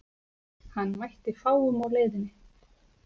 Hann mætti fáum á leiðinni.